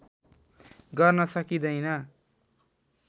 गर्न सकिँदैन